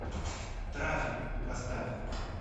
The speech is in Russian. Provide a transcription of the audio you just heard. трафик поставь